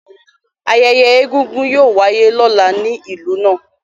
Ayẹyẹ Egúngún yóò wáyé lọ́la ní ìlú náà